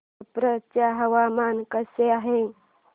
छप्रा चे हवामान कसे आहे